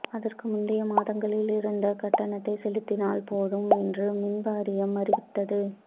அதற்கு முந்தைய மாதங்களில் இருந்த கட்டணத்தை செலுத்தினால் போதும் என்று மின் வாரியம் அறிவித்தது